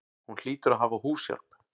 Hún hlýtur að hafa húshjálp.